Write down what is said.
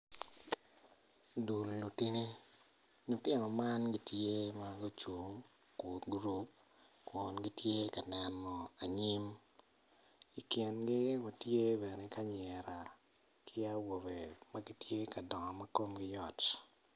Dul lutini lutino man gitye ma gucung i gurup kun gitye ka neno anyim i kingi watye bene ki anyira ki awobe ma gitye ka dongo ma komgi yot.